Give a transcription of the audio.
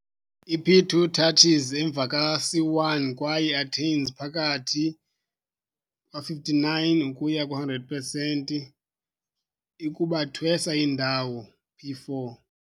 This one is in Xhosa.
I-p2 touches emva ka c1 kwaye attains phakathi 59 ukuya 100 pesenti i-kubathwesa indawo p4.